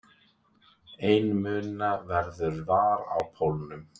Einmuna veður var á pólnum.